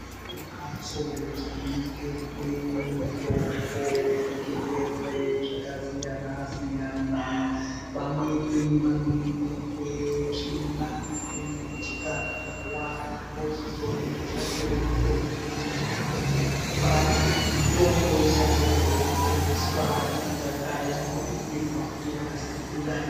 Pane mhatso dzinoningirwe mutombo wezvirwere zvakasiyana siyana. Vamweni vanoningirwe tsvina. Vamweni chikararwa. Vochizoona kutsvakirwa mitombo inovarapa. Mitombo isati yaende kootengeswa inotanga yamboningirwa kuti yakasisira ere.